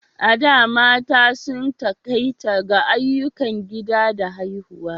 A da, mata sun takaita ga ayyukan gida da haihuwa.